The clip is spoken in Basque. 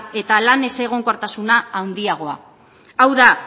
eta lan ezegonkortasuna handiagoa hau da